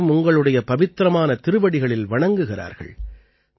அனைவரும் உங்களுடைய பவித்திரமான திருவடிகளில் வணங்குகிறார்கள்